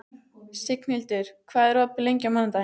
Signhildur, hvað er opið lengi á mánudaginn?